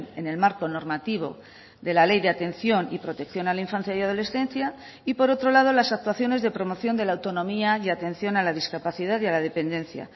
en el marco normativo de la ley de atención y protección a la infancia y adolescencia y por otro lado las actuaciones de promoción de la autonomía y atención a la discapacidad y a la dependencia